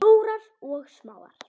Stórar og smáar.